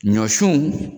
Ɲɔsun